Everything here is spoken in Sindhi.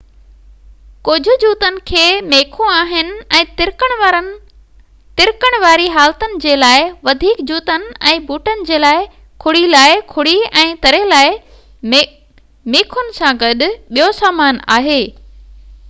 ڪجهه جوتن کي ميخون آهن ۽ ترڪڻ واري حالتن جي لاءِ وڌيڪ جوتن ۽ بوٽن جي لاءِ کڙي لاءِ کڙي ۽ تري لاءِ ميخن سان گڏ ٻيو سامان آهي